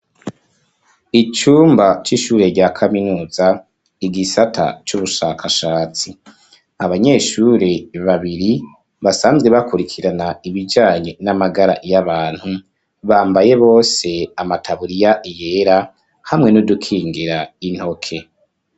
Icumba c'ishure rya kaminuza igisata cy'ubushakashatsi abanyeshuri babiri basanzwe bakurikirana ibijanye n'amagara y'abantu bambaye bose amataburiya yera hamwe n'udukingira intoke.